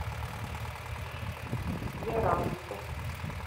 яранску